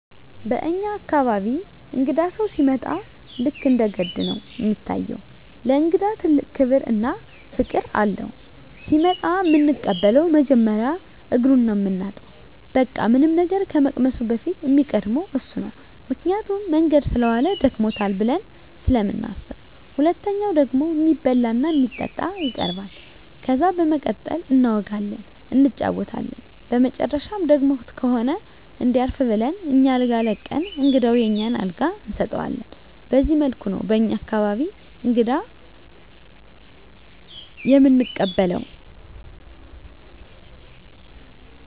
በኛ አካባቢ እንግዳ ሲመጣ ልክ እንደ ገድ ነው እሚታየው። ለእንግዳ ትልቅ ክብር እና ፍቅር አለው። ሲመጣ እምንቀበለው መጀመሪያ እግሩን ነው ምናጥበው በቃ ምንም ነገር ከመቅመሱ በፊት እሚቀድመው እሱ ነው ምክንያቱም መንገድ ሰለዋለ ደክሞታል ብለን ስለምናስብ። ሁለተኛው ደግሞ እሚበላ እና እሚጠጣ ይቀርባል። ከዛ በመቀጠል እናወጋለን እንጫወታለን በመጨረሻም ደክሞት ከሆነ እንዲያርፍ ብለን አኛ አልጋ ለቀን እንግዳውን የኛን አልጋ እንሰጠዋለን በዚህ መልኩ ነው በኛ አካባቢ እንግዳ እምንቀበለው።